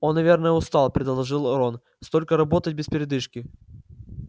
он наверное устал предположил рон столько работать без передышки